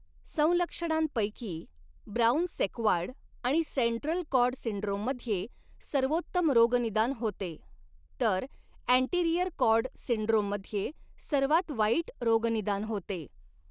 संलक्षणांपैकी, Brown Sequard आणि central cord सिंड्रोममध्ये सर्वोत्तम रोगनिदान होते तर अँटीरियर कॉर्ड सिंड्रोममध्ये सर्वात वाईट रोगनिदान होते.